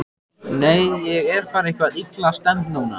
Nei, ég er bara eitthvað illa stemmd núna.